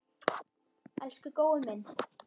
Elsku Gói minn.